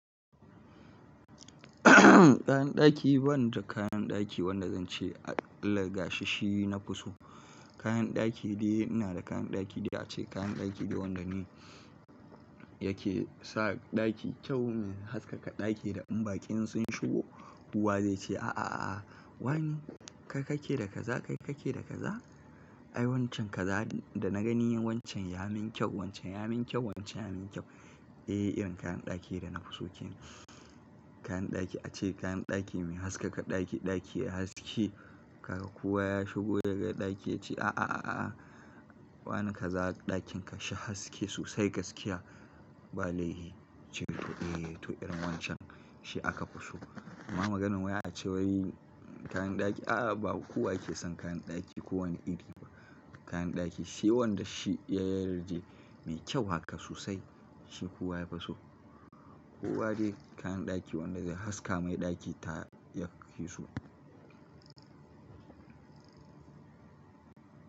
Kayan daki ba ni da kayan daki wanda zan ce al-gasashi na fi so. Kayan daki dai ina da kayan daki da ace kayan daki da wanda ne yake sa ɗaki kyau, min haskaka ɗaki da in baƙi sun shigo kowa zai ce, "a a a a wani? Kai ka ke da kaza, kai ka ke da kaza? Ai wancan kaza da na gani wancan ya min kyau, wancan ya min kyau, wancan ya min kyau." Eh, irin kayan daki da na fi so kenan. Kayan daki ace kayan daki mai haskaka ɗaki, ɗaki yayi haske. Kaka kuwa ya shigo ya ga ɗaki ya ce, "a a a a a wane kaza ɗakin ka shi haske sosai gaskiya?" Ba laifi. Cewa eh to irin wancan shi aka fi so. Amma maganan waya ace wai kayan daki a a ba kowa ke son kayan daki ko wane iri ba. Kayan daki shi wanda shi ya yarda mai kyau haka sosai shi kowa yafi so. Kowa dai kayan daki wanda zai haska mai ɗaki ta yafi so.